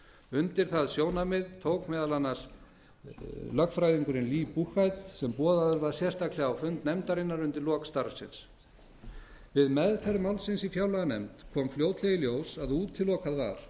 undir það sjónarmið tók meðal annars lögfræðingurinn lee buchheit sem boðaður var sérstaklega á fund nefndarinnar undir lok starfsins við meðferð málsins í fjárlaganefnd kom fljótlega í ljós að útilokað